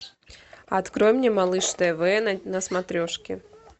открой мне малыш тв на смотрешке